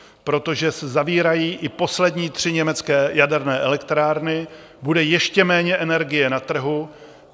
Protože se zavírají i poslední tři německé jaderné elektrárny, bude ještě méně energie na trhu.